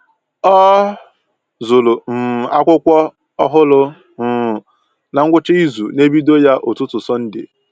Ọ zụrụ um akwụkwọ ọhụrụ um na ngwụcha izu na ebido ya ụtụtụ Sọnde